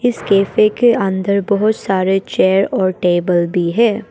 Cafe के अंदर बहोत सारे चेयर और टेबल भी है।